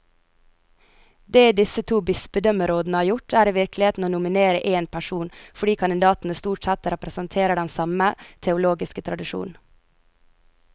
Det disse to bispedømmerådene har gjort, er i virkeligheten å nominere én person, fordi kandidatene stort sett representerer den samme teologiske tradisjon.